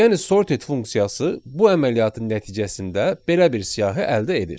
Yəni sorted funksiyası bu əməliyyatın nəticəsində belə bir siyahı əldə edir.